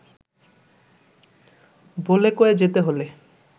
বলে-কয়ে যেতে হলে